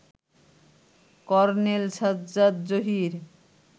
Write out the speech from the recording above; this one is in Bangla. কর্নেল সাজ্জাদ জহির